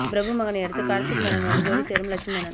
பிரபு மகனை அடுத்து கார்த்திக் மகனோடு ஜோடி சேரும் லக்ஷ்மி மேனன்